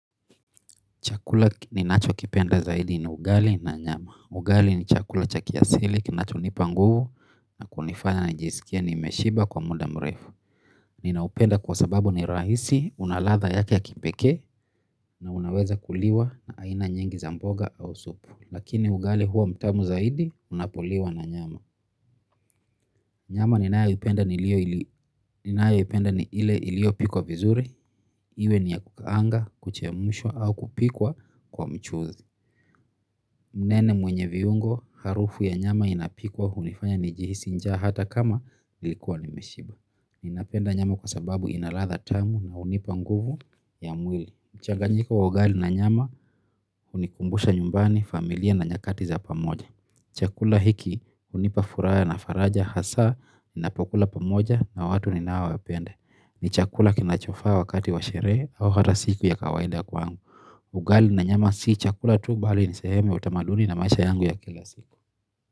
Chakula ninacho kipenda zaidi ni ugali na nyama. Ugali ni chakula cha kiasili kinacho nipa nguvu na kunifanya ni jisikie nimeshiba kwa muda mrefu. Ninaupenda kwa sababu ni rahisi, unaladha yake ya kipekee na unaweza kuliwa na aina nyingi za mboga au supu. Lakini ugali huwa mtamu zaidi unapoliwa na nyama. Nyama ninayo ipenda ni ile ilio pikwa vizuri, iwe ni ya kukaanga, kuchemshwa au kupikwa kwa mchuzi. Mnene mwenye viungo harufu ya nyama inapikwa hunifanya nijihisi njaa hata kama nilikua nimeshiba ninapenda nyama kwa sababu inaladha tamu na hunipa nguvu ya mwili. Mchanganyiko wa ugali na nyama, hunikumbusha nyumbani, familia na nyakati za pamoja. Chakula hiki hunipa furaha na faraja hasa ninapo kula pamoja na watu ninao wapenda. Ni chakula kinachofaa wakati wa sheree au hata siku ya kawaida kwangu. Ugali na nyama si chakula tu bali ni sehemu ya utamaduni na maisha yangu ya kila siku.